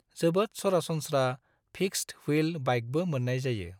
जोबोद सरासनस्रा फिक्सद-व्हील बाइकबो मोन्नाय जायो।